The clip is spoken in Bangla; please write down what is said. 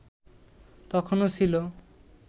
তখনো ছিল